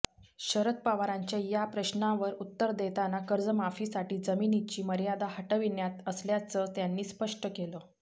शरद पवारांच्या या प्रश्नावर उत्तर देताना कर्जमाफीसाठी जमिनीची मर्यादा हटवण्यात आल्याचं त्यांनी स्पष्ट केलं